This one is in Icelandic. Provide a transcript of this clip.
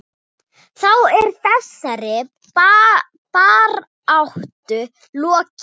Þá er þessari baráttu lokið.